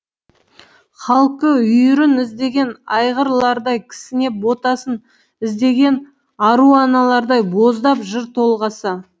халқы үйірін іздеген айғырлардай кісінеп ботасын іздеген ару аналардай боздап жыр толғаса